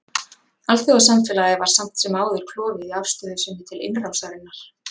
Alþjóðasamfélagið var samt sem áður klofið í afstöðu sinni til innrásarinnar.